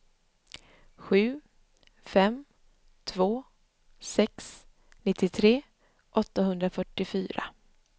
sju fem två sex nittiotre åttahundrafyrtiofyra